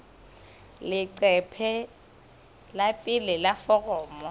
leqephe la pele la foromo